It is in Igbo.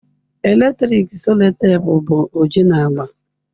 Eletrik sellotape bụ oji na agba.